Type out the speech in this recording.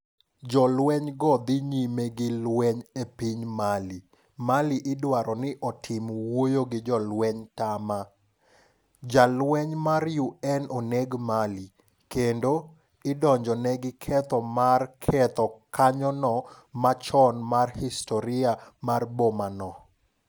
Jolwenygo dhi nyime gi lweny e piny Mali. Mali idwaro ni otim wuoyo gi jo lweny tama. jalweny mar UN oneg Mali. Kendo, idonjone gi keth mar ketho kanyono machon mar historia mar boma no.